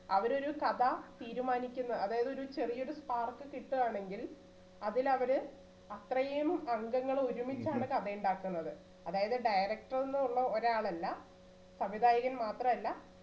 അവരൊരു കഥ തീരുമാനിക്കുന്നെ അതായതൊരു ചെറിയ spark കിട്ടുവാണെങ്കിൽ അതിൽ അവര്അത്രയും അംഗങ്ങൾ ഒരുമിച്ചാണ് കഥയുണ്ടാക്കുന്നത് അതായത് director ന്നുള്ള ഒരാൾ അല്ല സംവിധായകൻ മാത്രല്ല